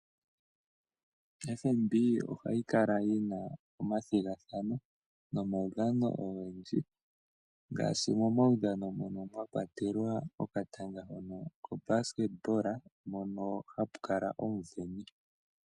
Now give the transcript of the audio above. FNB ohayi kala yina omathigathano nomaudhano ogendji ngaashi momaudhano mono mwakwatelwa okatanga hono ko basket mono hapu kala omuveni.